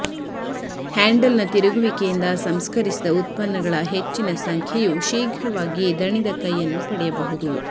ಹ್ಯಾಂಡಲ್ನ ತಿರುಗುವಿಕೆಯಿಂದ ಸಂಸ್ಕರಿಸಿದ ಉತ್ಪನ್ನಗಳ ಹೆಚ್ಚಿನ ಸಂಖ್ಯೆಯು ಶೀಘ್ರವಾಗಿ ದಣಿದ ಕೈಯನ್ನು ಪಡೆಯಬಹುದು